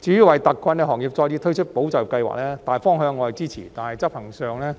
至於為特困行業再次推出保就業計劃，大方向我是支持的，但執行上